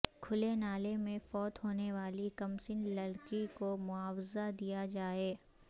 کھلے نالے میں فوت ہونے والی کمسن لڑکی کو معاوضہ دیا جائے